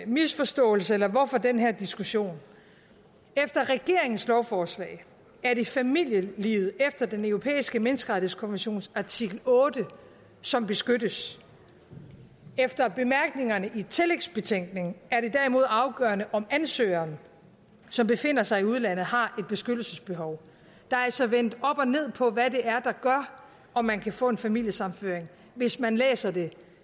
misforståelse eller hvorfor den her diskussion efter regeringens lovforslag er det familielivet efter den europæiske menneskerettighedskommissions artikel otte som beskyttes efter bemærkningerne i tillægsbetænkningen er det derimod afgørende om ansøgeren som befinder sig i udlandet har et beskyttelsesbehov der er altså vendt op og ned på hvad det er der gør om man kan få en familiesammenføring hvis man læser det